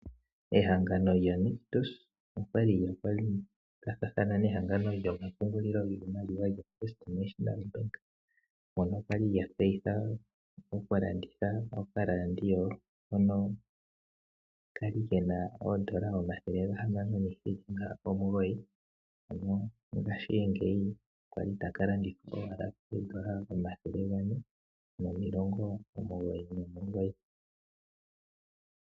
Ehangano lyoNictus olya li lya kwathathana nehangano lyoFirst National Bank moka lya li lya tseyitha okulanditha okaradio hono ka li ke na N$ 609, ngashingeyi ota ka landithwa ashike kooN$ 499.